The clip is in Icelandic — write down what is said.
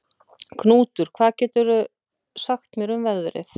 Knútur, hvað geturðu sagt mér um veðrið?